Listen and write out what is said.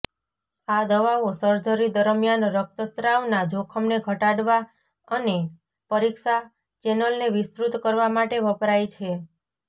આ દવાઓ સર્જરી દરમિયાન રક્તસ્રાવના જોખમને ઘટાડવા અને પરીક્ષા ચેનલને વિસ્તૃત કરવા માટે વપરાય છે